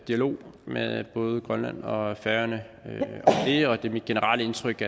dialog med både grønland og færøerne og det er mit generelle indtryk